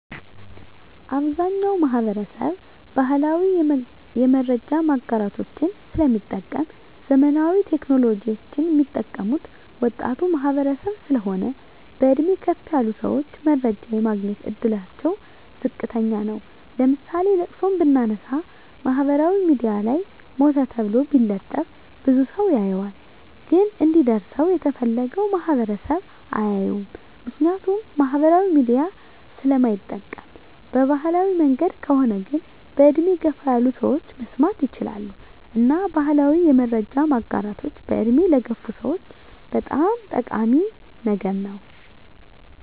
አብዛኛዉ ማህበረሰብ ባህላዊ የመረጃ ማጋራቶችን ስለሚጠቀም ዘመናዊ ቴክኖሎጂወችን ሚጠቀሙት ወጣቱ ማህበረሰብ ስለሆን በእድሜ ከፍ ያሉ ሰወች መረጃ የማግኘት እድላቸዉ ዝቅተኛ ነዉ ለምሳሌ ለቅሶን ብናነሳ ማህበራዊ ሚድያ ላይ ሞተ ተብሎ ቢለጠፍ ብዙ ሰዉ ያየዋል ግን እንዲደርሰዉ የተፈለገዉ ማህበረሰብ አያየዉም ምክንያቱም ማህበራዊ ሚዲያ ስለማይጠቀም በባህላዊ መንገድ ከሆነ ግን በእድሜ ገፋ ያሉ ሰወች መስማት ይችላሉ እና ባህላዊ የመረጃ ማጋራቶች በእድሜ ለገፉ ሰወች በጣም ጠቃሚ ነገር ነዉ